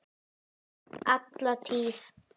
Alla tíð.